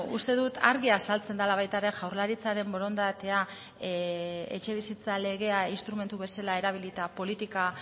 uste dut argi azaltzen dela baita ere jaurlaritzaren borondatea etxebizitza legea instrumentu bezala erabilita politika